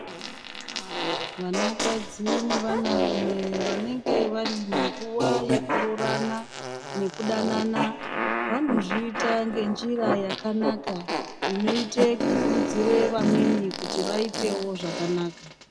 Vanakadzi nevana rume vanenge vari munguva yekurorana nekudanana. Vanozviita ngenjira yakanaka inoite kukurudzire vamweni kuti vaitevo zvakanaka.